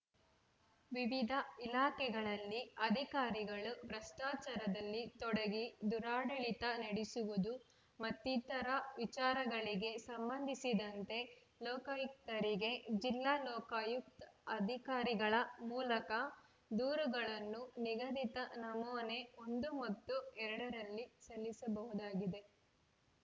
ವಿವಿಧ ಇಲಾಖೆಗಳಲ್ಲಿ ಅಧಿಕಾರಿಗಳು ಭ್ರಷ್ಟಾಚಾರದಲ್ಲಿ ತೊಡಗಿ ದುರಾಡಳಿತ ನಡೆಸುವುದು ಮತ್ತಿತರ ಚಾರಗಳಿಗೆಸಂಬಂಧಿಸಿದಂತೆ ಲೋಕಾಯುಕ್ತರಿಗೆ ಜಿಲ್ಲಾ ಲೋಕಾಯುಕ್ತ್ ಅಧಿಕಾರಿಗಳ ಮೂಲಕ ದೂರುಗಳನ್ನು ನಿಗದಿತ ನಮೂನೆ ಒಂದು ಮತ್ತು ಎರಡು ರಲ್ಲಿ ಸಲ್ಲಿಸಬಹುದಾಗಿದೆ